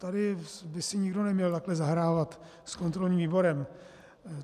Tady by si nikdo neměl takhle zahrávat s kontrolním výborem.